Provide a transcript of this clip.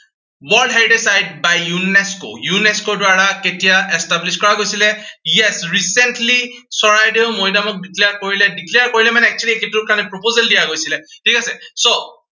world heritage site by UNESCOUNESCO ৰ দ্বাৰা কেতিয়া established কৰা গৈছিলে। recently চৰাইদেউ মৈডামত declare কৰিলে, declare কৰিলে মানে, actually সেইটোৰ কাৰনে proposal দিয়া গৈছিলে। ঠিক আছে so